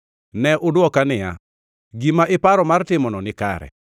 Ne udwoka niya, “Gima iparo mar timono nikare.”